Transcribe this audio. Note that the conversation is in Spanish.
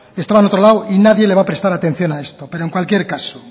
estaba en otro lado y nadie le va a prestar atención a esto pero en cualquier caso